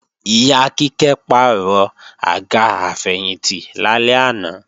Ìyá Kíkẹ́ pàrọ̀ àga àfẹ̀yìntì lálẹ́ àná